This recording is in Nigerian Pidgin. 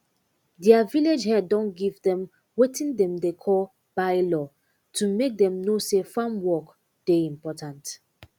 deir village head don give dem wetin dem dey call bye law to make dem know say farm work dey important